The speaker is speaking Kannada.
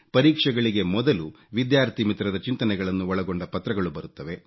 ಪರೀಕ್ಷೆಗಳಿಗೆ ಮೊದಲು ವಿದ್ಯಾರ್ಥಿ ಮಿತ್ರರ ಚಿಂತನೆಗಳನ್ನು ಒಳಗೊಂಡ ಪತ್ರಗಳು ಬರುತ್ತವೆ